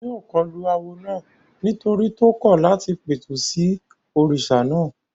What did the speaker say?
Wọ́n yóò kọlu awo náà nítorí tó kọ̀ láti pẹ̀tù sí òrìṣà náà